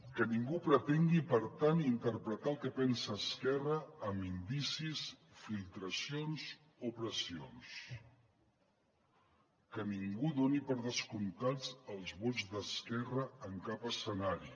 que ningú pretengui per tant interpretar què pensa esquerra amb indicis filtracions o pressions que ningú doni per descomptats els vots d’esquerra en cap escenari